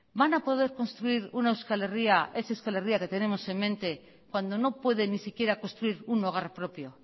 van a poder construir una euskal herria esa euskal herria que tenemos en mente cuando no puede ni siquiera construir un hogar propio